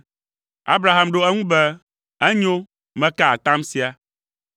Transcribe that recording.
Abraham ɖo eŋu be, “Enyo, meka atam sia!”